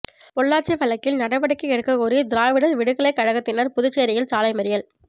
பொள்ளாச்சி வழக்கில் நடவடிக்கை எடுக்கக்கோரி திராவிடர் விடுதலை கழகத்தினர் புதுச்சேரியில் சாலைமறியல்